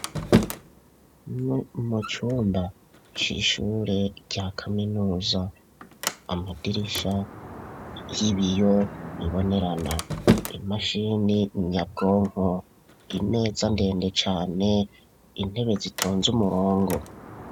Mu cumba cishure rya kaminuza amadirisha y'ibiyo bibonerana .Imashini nyabwonko imeza ndende cane intebe zitonze umurongo.